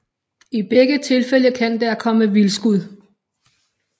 I begge tilfælde kan der komme vildskud